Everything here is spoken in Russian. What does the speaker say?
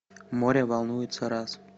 море волнуется раз